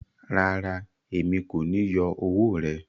Rárá, èmi ko ni yọ ọwọ rẹ.